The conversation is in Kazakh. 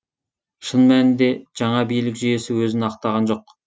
шын мәнінде жаңа билік жүйесі өзін ақтаған жоқ